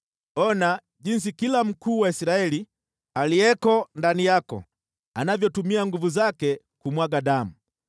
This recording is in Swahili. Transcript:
“ ‘Ona jinsi kila mkuu wa Israeli aliyeko ndani yako anavyotumia nguvu zake kumwaga damu.